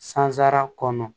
Sansara kɔnɔ